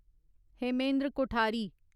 Hemendra Kothari